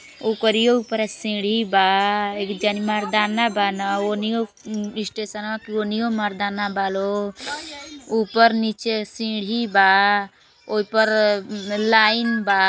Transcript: उकरियों ऊपरा सीढ़ी बा। एक जानी मर्दाना बान। ओनियो ऊं स्टेशनवा के ओनियो मर्दाना बा लोग। ऊपर नीचे सीढ़ी बा ओही पर लाइन बा।